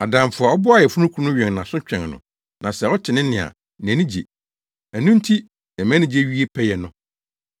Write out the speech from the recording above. Adamfo a ɔboa ayeforokunu no wɛn nʼaso twɛn no na sɛ ɔte ne nne a, nʼani gye. Ɛno nti na mʼanigye wie pɛyɛ no.